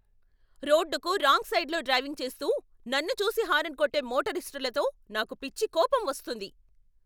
రోడ్డుకు రాంగ్ సైడ్లో డ్రైవింగ్ చేస్తూ, నన్ను చూసి హారన్ కొట్టే మోటరిస్టులతో నాకు పిచ్చి కోపం వస్తుంది.